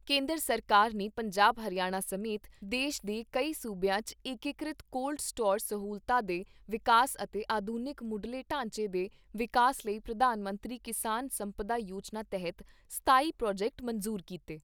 ਕੇਂਦਰ ਸਰਕਾਰ ਨੇ ਪੰਜਾਬ ਹਰਿਆਣਾ ਸਮੇਤ ਦੇਸ਼ ਦੇ ਕਈ ਸੂਬਿਆਂ 'ਚ ਏਕੀਕ੍ਰਿਤ ਕੋਲਡ ਸਟੋਰ ਸਹੂਲਤਾਂ ਦੇ ਵਿਕਾਸ ਅਤੇ ਆਧੁਨਿਕ ਮੁੱਢਲੇ ਢਾਂਚੇ ਦੇ ਵਿਕਾਸ ਲਈ ਪ੍ਰਧਾਨ ਮੰਤਰੀ ਕਿਸਾਨ ਸੰਪਦਾ ਯੋਜਨਾ ਤਹਿਤ ਸਤਾਈ ਪ੍ਰੋਜੈਕਟ ਮਨਜ਼ੂਰ ਕੀਤੇ।